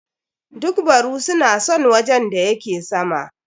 Duk baru su na son wajen da yake sama.